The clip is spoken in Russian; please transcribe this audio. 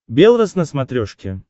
белрос на смотрешке